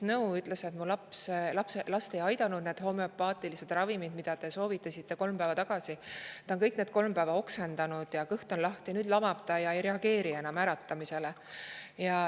Ta ütles, et need homoöpaatilised ravimid, mida talle kolm päeva tagasi soovitati, ei ole tema last aidanud, laps on kõik need kolm päeva oksendanud ja kõht on lahti, nüüd lamab ja ei reageeri enam äratamisele.